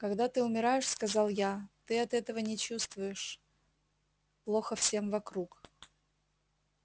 когда ты умираешь сказал я ты от этого не чувствуешь плохо всем вокруг